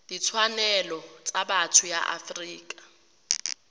ditshwanelo tsa botho ya afrika